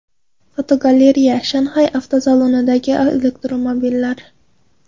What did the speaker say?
Fotogalereya: Shanxay avtosalonidagi elektromobillar.